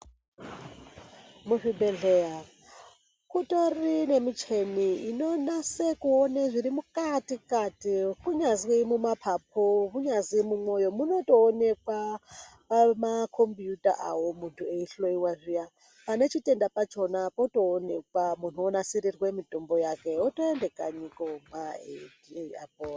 Muzvibhehleya kutori nemicheni inonase kuone zviri mukati-kati kunyazwi mumapapu kunyazi mumwoyo munotoonekwa mumakombiyuta avo muntu eihloya zviya. Panechitenda pachona potoonekwa muntu onasirirwe mitombo yake otoenda kanyi kuomwa eiti apore.